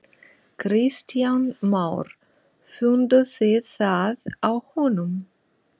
Kristján Már: Funduð þið það á honum?